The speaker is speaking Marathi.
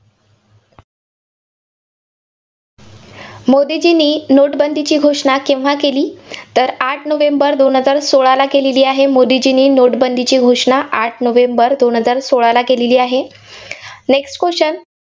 मोदीजींनी नोटबंदीची घोषणा केव्हा केली? तर आठ नोव्हेंबर दोन हजार सोळाला केलेली आहे, मोदीजींनी note बंदीची घोषणा आठ नोव्हेंबर दोन हजार सोळाला केलेली आहे. next question